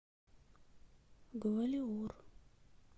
гвалиор